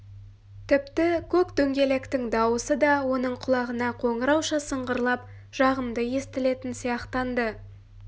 тіпті көк дөңгелектің даусы да оның құлағына қоңырауша сыңғырлап жағымды естілетін сияқтанды